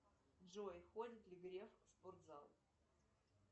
джой ходит ли греф в спортзал